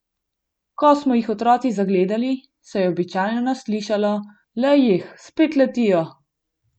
Ko smo jih otroci zagledali, se je običajno slišalo: "Lej jih, spet letijo!